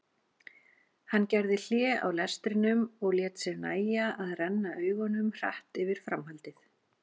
Hann gerði hlé á lestrinum og lét sér nægja að renna augunum hratt yfir framhaldið.